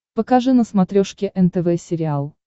покажи на смотрешке нтв сериал